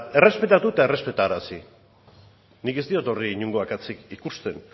errespetatu eta errespetarazi nik ez diot horri inongo akatsik ikusten